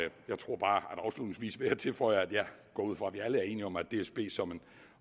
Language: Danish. jeg tilføje at jeg går ud fra vi alle er enige om at dsb som en